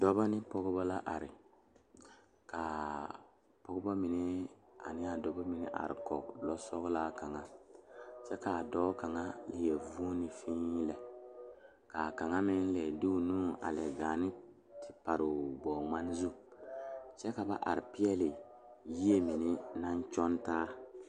Dɔɔba ne Pɔgeba la are kaa pɔgeba mine trata Koɔri ka dɔɔba are a be ka bamine leri ba nuure a dɔɔ kaŋa su kpare sɔglaa seɛ kuri sɔglaa ka kaŋa meŋ su kpare wogi kyɛ ko e doɔre kyɛ ko vɔgle zupele